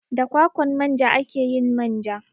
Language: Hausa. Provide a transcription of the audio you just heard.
Da kwakwan manja ake yin manja.